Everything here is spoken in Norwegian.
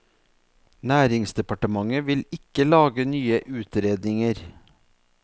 Næringsdepartementet vil ikke lage nye utredninger.